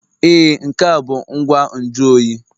Ee, nke a bụ ngwa nju oyi